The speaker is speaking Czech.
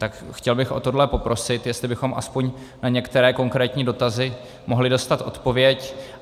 Tak chtěl bych o tohle poprosit, jestli bychom aspoň na některé konkrétní dotazy mohli dostat odpověď.